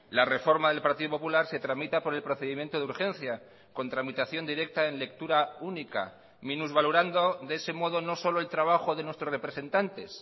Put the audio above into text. la reforma del partido popular se tramita por el procedimiento de urgencia con tramitación directa en lectura única minusvalorando de ese modo no solo el trabajo de nuestros representantes